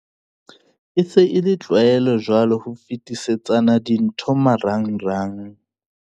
"E se e le tlwaelo jwale ho fetisetsana dintho marangrang."